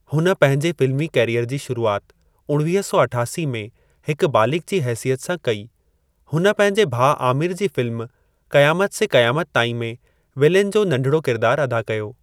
हुन पंहिंजे फ़िल्मी कैरीयर जी शुरूआति उणवीह सौ अठासी में हिक बालिग़ जी हेसियत सां कई हुन पंहिंजे भाउ आमिर जी फ़िल्म क़यामत से क़यामत ताईं में विलेन जो नढिड़ो किरिदारु अदा कयो।